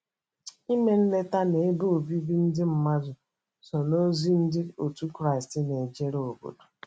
Ime nleta n’ebe obibi ndị mmadụ so n’ozi Ndị otu Kraịst na - ejere obodo.